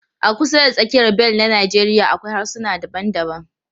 A kusa da tsakiyar bel na Najeriya akwai harsuna daban-daban.